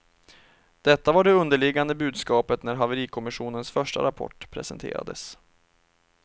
Detta var det underliggande budskapet när haverikommissionens första rapport presenterades.